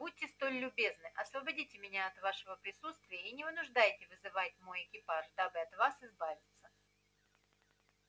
будьте столь любезны освободите меня от вашего присутствия и не вынуждайте вызывать мой экипаж дабы от вас избавиться